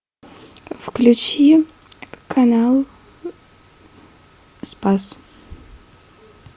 включи канал спас